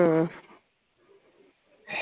ആഹ്